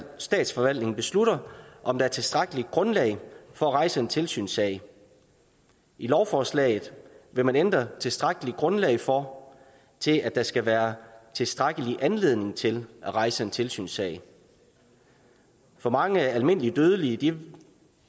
statsforvaltningen beslutter om der er tilstrækkeligt grundlag for at rejse en tilsynssag i lovforslaget vil man ændre tilstrækkeligt grundlag for til at der skal være tilstrækkelig anledning til at rejse en tilsynssag for mange almindelige dødelige